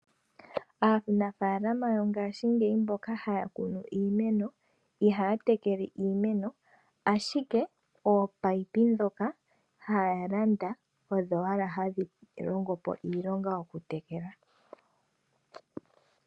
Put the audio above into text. Aanafaalama mba haya kunu iimeno . Iha ya tekele we iimeno nomayemele. Ashike ohaya longitha ominino ndhoka haya landa.